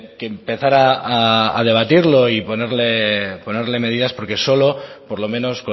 que empezar a debatirlo y ponerle medidas porque solo por lo menos